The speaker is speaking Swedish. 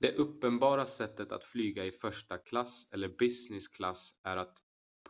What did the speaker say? det uppenbara sättet att flyga i första klass eller business class är att